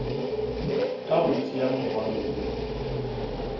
ka go tšea morwalo wo